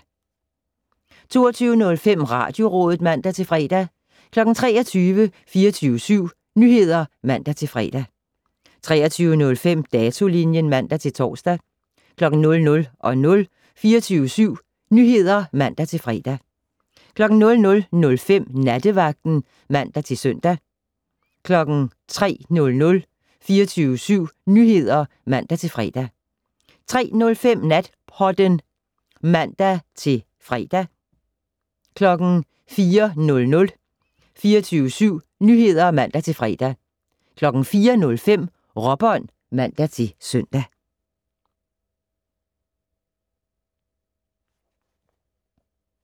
22:05: Radiorådet (man-fre) 23:00: 24syv Nyheder (man-fre) 23:05: Datolinjen (man-tor) 00:00: 24syv Nyheder (man-fre) 00:05: Nattevagten (man-søn) 03:00: 24syv Nyheder (man-fre) 03:05: Natpodden (man-fre) 04:00: 24syv Nyheder (man-fre) 04:05: Råbånd (man-søn)